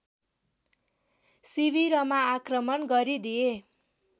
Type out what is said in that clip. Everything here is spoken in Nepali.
शिविरमा आक्रमण गरिदिए